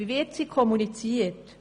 Wie wird sie kommuniziert?